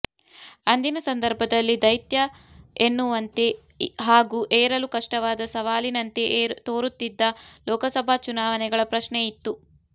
ಅಂದಿನ ಸಂದರ್ಭದಲ್ಲಿ ದೈತ್ಯ ಎನ್ನುವಂತೆ ಹಾಗೂ ಏರಲು ಕಷ್ಟವಾದ ಸವಾಲಿನಂತೆ ತೋರುತ್ತಿದ್ದ ಲೋಕಸಭಾ ಚುನಾವಣೆಗಳ ಪ್ರಶ್ನೆ ಇತ್ತು